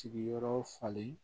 Sigiyɔrɔ falen